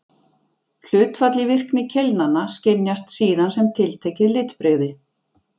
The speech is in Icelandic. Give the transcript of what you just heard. Hlutfall í virkni keilnanna skynjast síðan sem tiltekið litbrigði.